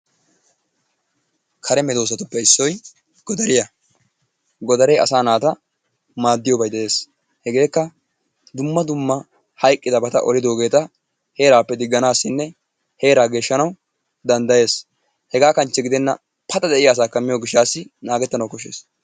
Kare medoosatuppe issoy godariya. Godaree asaa naata maaddiyobay de'ees. Hegeekka dumma dumma hayqqidabata olidobata heeraappe digganaassinne heeraa geeshshanawu danddayees. Hegaa kanchche gidenna paxa de'iya asaakka miyo gishshaassi naagettanawu koshshees.